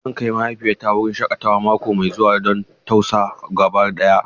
Zan kai mahaifiyata wurin shakatawa mako mai zuwa don tausa gaba daya.